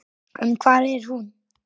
En hvar er hún?